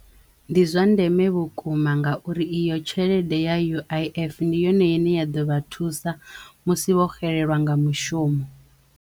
Ndi zwa ndeme vhukuma ngauri i yo tshelede ya U_I_F ndi yone ine ya ḓovha thusa musi vho xelelwa nga mushumo.